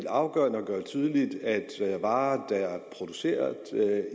afgørende at gøre tydeligt at varer der er produceret